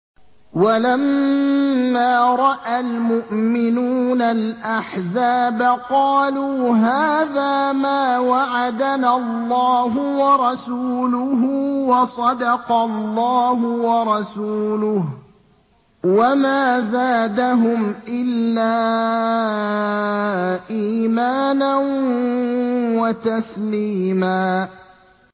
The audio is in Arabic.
وَلَمَّا رَأَى الْمُؤْمِنُونَ الْأَحْزَابَ قَالُوا هَٰذَا مَا وَعَدَنَا اللَّهُ وَرَسُولُهُ وَصَدَقَ اللَّهُ وَرَسُولُهُ ۚ وَمَا زَادَهُمْ إِلَّا إِيمَانًا وَتَسْلِيمًا